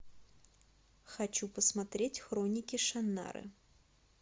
хочу посмотреть хроники шаннары